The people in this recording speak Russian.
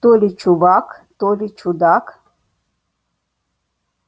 то ли чувак то ли чудак